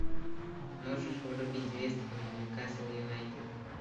можешь врубить вест хэм ньюкасл юнайтед